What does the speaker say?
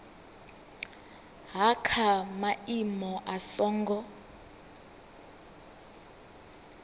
ha kha maimo a songo